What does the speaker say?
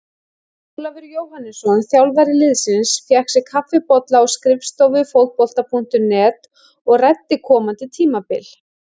Ólafur Jóhannesson, þjálfari liðsins, fékk sér kaffibolla á skrifstofu Fótbolta.net og ræddi komandi tímabil.